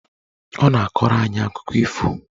Ọ na-akọrọ anyị akụkọ ifo.